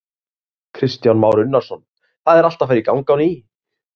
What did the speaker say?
Kristján Már Unnarsson: Það er allt að fara í gang á ný?